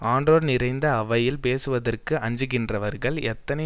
ஆன்றோர் நிறைந்த அவையில் பேசுவதற்கு அஞ்சுகின்றவர்கள் எத்தனை